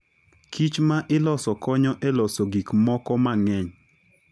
kichma iloso konyo e loso gik moko mang'eny.